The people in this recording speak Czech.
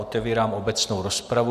Otevírám obecnou rozpravu.